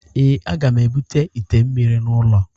Ee, a ga m ebute ite mmiri n'ụlọ